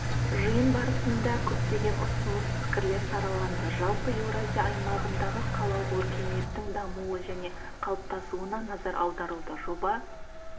жиын барысында көптеген ұсыныс-пікірлер сараланды жалпы еуразия аймағындағы қалалық өркениеттің дамуы және қалыптасуына назар аударылды жоба